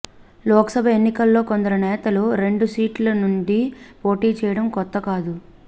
లోక్సభ ఎన్నికల్లో కొందరు నేతలు రెండు సీట్ల నుంచి పోటీ చేయడం కొత్త కాదు